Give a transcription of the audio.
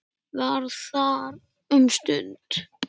Var þar um stund.